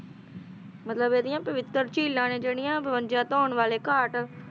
ਨਵੇਂ ਟਰੈਕਟਰਾਂ ਨੇ ਕਿਹੜੀਆਂ ਹੋਣਗੀਆਂ ਪਾਉਣ ਵਾਲੇ ਕਾਰਕ